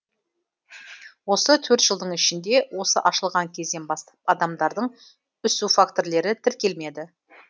осы төрт жылдың ішінде осы ашылған кезден бастап адамдардың үсу фактілері тіркелмеді